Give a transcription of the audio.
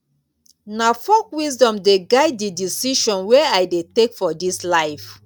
na folk wisdom dey guide di decisions wey i dey take for dis life.